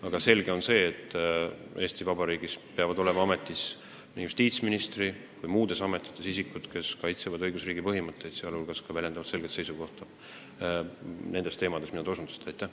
Aga selge on, et Eesti Vabariigis peavad nii justiitsministri kohal kui muudes riigiametites olema isikud, kes kaitsevad õigusriigi põhimõtteid, sh väljendavad selget seisukohta nende teemade puhul, millele te osutasite.